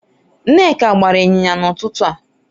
Nneka gbara inyinya n'ututu a